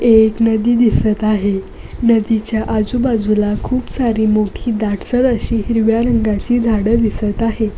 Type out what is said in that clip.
एक नदी दिसत आहे नदीच्या आजूबाजूला खूप सारी मोठी दाटसर अशी हिरव्या रंगाची झाड दिसत आहे.